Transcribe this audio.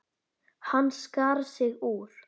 Hann skar sig úr.